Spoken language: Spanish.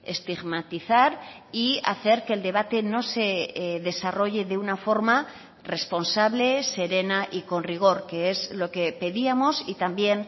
estigmatizar y hacer que el debate no se desarrolle de una forma responsable serena y con rigor que es lo que pedíamos y también